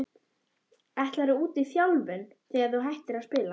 Ætlarðu út í þjálfun þegar að þú hættir að spila?